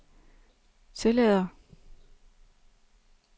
tillader